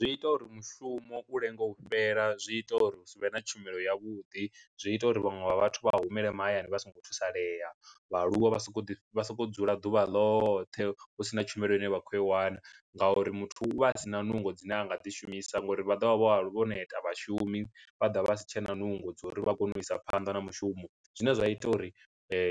Zwi ita uri mushumo u lenge u fhela, zwi ita uri hu sivhe na tshumelo ya vhuḓi zwi ita uri vhaṅwe vha vhathu vha humele mahayani vha songo thusalea, vhaaluwa vha sokou ḓi vha sokou dzula ḓuvha ḽoṱhe husina tshumelo ine vha khou khou iwana, ngauri muthu u vha a sina nungo dzine anga ḓi shumisa ngori vha ḓovha vho vho neta vhashumi vha dovha vha vha si tshena nungo dza uri vha kone u isa phanḓa na mushumo zwine zwa ita uri